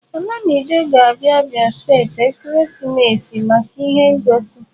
Olamide ga-abia Abia steeti ekeresimesi a maka ihe ngosi